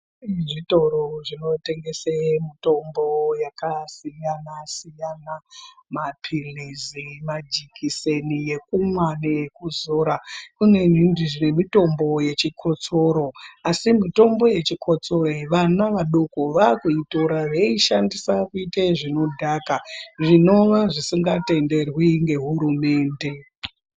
Zvitoro zvinotengese mitombo yakasiyana siyana mapilizi ma jekiseni yekumwa nekuzora kunezve mitombo yechikotsoro asi mitombo yechikotsoro vana vadoko vakuitora veishandise kuite zvinodhaka zvinova zvisinga tenderwi ngehurumende.